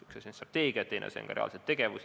Üks asi on strateegia, teine asi on reaalne tegevus.